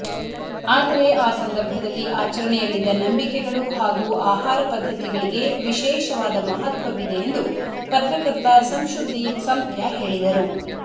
ಆದರೆ ಆ ಸಂದರ್ಭದಲ್ಲಿ ಆಚರಣೆಯಲ್ಲಿದ್ದ ನಂಬಿಕೆಗಳು ಹಾಗೂ ಆಹಾರ ಪದ್ದತಿಗಳಿಗೆ ವಿಶೇಷವಾದ ಮಹತ್ವವಿದೆ ಎಂದು ಪತ್ರಕರ್ತ ಸಂಶುದ್ಧೀನ್ ಸಂಪ್ಯ ಹೇಳಿದರು